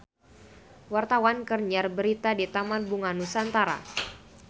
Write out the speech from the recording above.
Wartawan keur nyiar berita di Taman Bunga Nusantara